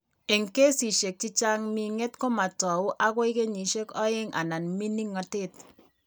Eng' kesishek ming'et ko mo tou akoi kenyishek aeng' anan mining'natet.